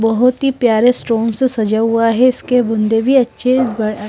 बहुत ही प्यारे स्टोन से सजा हुआ है इसके बुँदे भी अच्छे व् अअ--